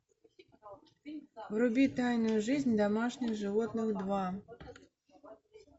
вруби тайную жизнь домашних животных два